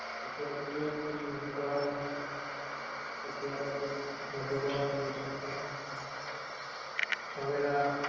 પછી આ જે કેબ છે એ પછી આ બાજું મધુવન એ resort માં, સવેરા